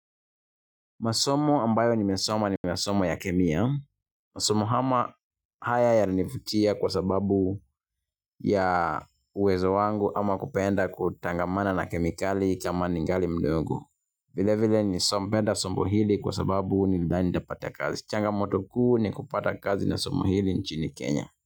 Masomo ambayo nimesoma nimeyasoma ya kemia. Masomo haya yalinivutia kwa sababu ya uwezo wangu ama kupenda kutangamana na kemikali kama ningali mdogo. Vile vile nilipenda somo hili kwa sababu nilidhani nitapata kazi. Changamoto kuu ni kupata kazi na somo hili nchini Kenya.